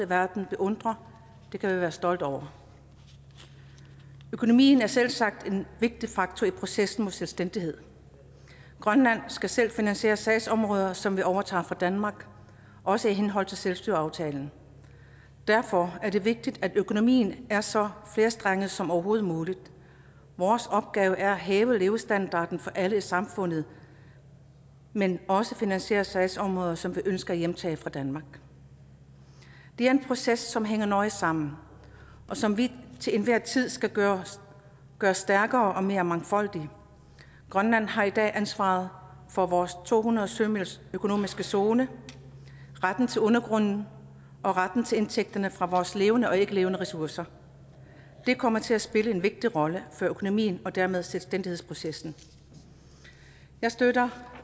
verden beundrer det kan vi være stolte over økonomien er selvsagt en vigtig faktor i processen mod selvstændighed grønland skal selv finansiere sagsområder som vi overtager fra danmark også i henhold til selvstyreaftalen derfor er det vigtigt at økonomien er så flerstrenget som overhovedet muligt vores opgave er at hæve levestandarden for alle i samfundet men også at finansiere sagsområder som vi ønsker at hjemtage fra danmark det er en proces som hænger nøje sammen og som vi til enhver tid skal gøre gøre stærkere og mere mangfoldig grønland har i dag ansvaret for vores to hundrede sømils økonomiske zone retten til undergrunden og retten til indtægterne fra vores levende og ikke levende ressourcer det kommer til at spille en vigtig rolle for økonomien og dermed selvstændighedsprocessen jeg støtter